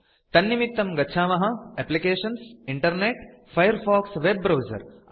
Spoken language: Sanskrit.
तन्निमित्तं गच्छामः एप्लिकेशन्सग्टिंटर्नेटफिरफाइरफॉक्स वेब ब्राउजर